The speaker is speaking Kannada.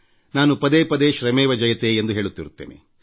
ನಾನು ಪದೇ ಪದೇ ಶ್ರಮೇವ ಜಯತೆ ಎಂದು ಹೇಳುತ್ತಿರುತ್ತೇನೆ